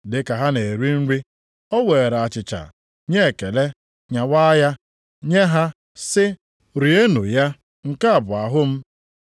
Dị ka ha na-eri nri, o weere achịcha, nye ekele, nyawa ya, nye ha sị, “Rienụ ya, nke a bụ ahụ m.”